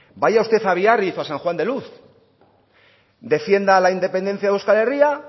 vaya usted a biarritz o a san juan de luz defienda la independencia de euskal herria